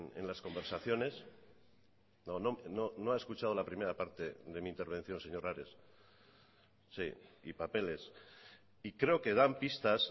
en las conversaciones no ha escuchado la primera parte de mi intervención señor ares sí y papeles y creo que dan pistas